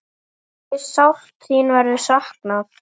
Hve sárt þín verður saknað.